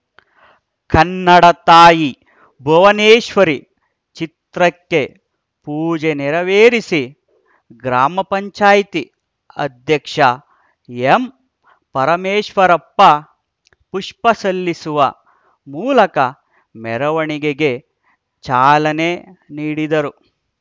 ಕನ್ನಡ ತಾಯಿ ಭುವನೇಶ್ವರಿ ಚಿತ್ರಕ್ಕೆ ಪೂಜೆ ನೇರವೇರಿಸಿ ಗ್ರಾಮ ಪಂಚಾಯ್ತಿ ಅಧ್ಯಕ್ಷ ಎಂಪರಮೇಶ್ವರಪ್ಪ ಪುಷ್ಪ ಸಲ್ಲಿಸುವ ಮೂಲಕ ಮೆರವಣಿಗೆಗೆ ಚಾಲನೆ ನೀಡಿದರು